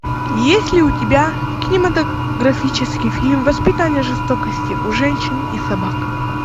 есть ли у тебя кинематографический фильм воспитание жестокости у женщин и собак